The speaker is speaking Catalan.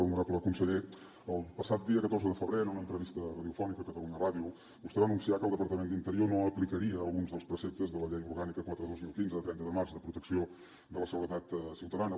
honorable conseller el passat dia catorze de febrer en una entrevista radiofònica a catalunya ràdio vostè va anunciar que el departament d’interior no aplicaria alguns dels preceptes de la llei orgànica quatre dos mil quinze de trenta de març de protecció de la seguretat ciutadana